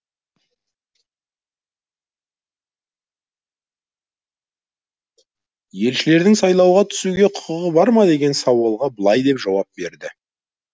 елшілердің сайлауға түсуге құқығы бар ма деген сауалға былай деп жауап берді